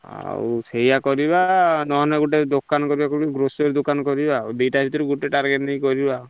ଆଉ ସେଇଆ କରିଆ ନହେଲେ କୋଉଠି ଦୋକାନ କରିଆ grocery କରିଆ ଆଉ ଦଇତ ଭିତରୁ ଗୋଟେ target ନେଇକି କରିବ ଆଉ।